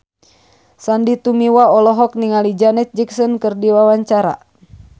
Sandy Tumiwa olohok ningali Janet Jackson keur diwawancara